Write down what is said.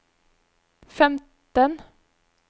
femten